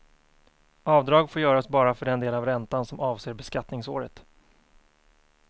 Avdrag får göras bara för den del av räntan som avser beskattningsåret.